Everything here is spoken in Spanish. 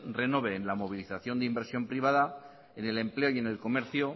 renove en la movilización de inversión privada en el empleo y en el comercio